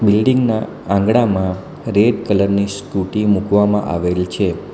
Building ના આંગણામાં red colour ની સ્કુટી મૂકવામાં આવેલ છે.